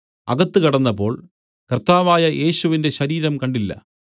അകത്ത് കടന്നപ്പോൾ കർത്താവായ യേശുവിന്റെ ശരീരം കണ്ടില്ല